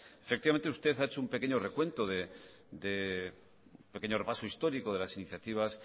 efectivamente usted ha hecho un pequeño recuento un pequeño repaso histórico de las iniciativas